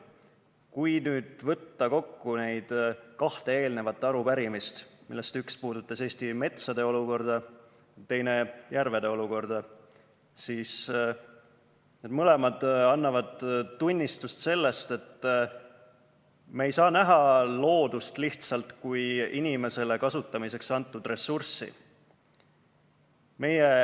Kui võtta kokku neid kahte arupärimist, millest üks puudutas Eesti metsade olukorda ja teine järvede olukorda, siis need mõlemad annavad tunnistust sellest, et me ei saa näha loodust lihtsalt kui inimesele kasutamiseks antud ressurssi.